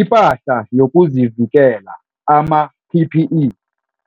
IPahla YokuziVikela, ama-PPE,